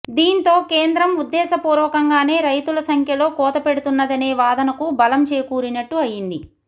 దీంతో కేంద్రం ఉద్దేశపూర్వకంగానే రైతుల సంఖ్యలో కోత పెడుతున్నదనే వాదనకు బలం చేకూరినట్టు అయ్యింది